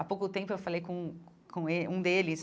Há pouco tempo eu falei com um com um deles,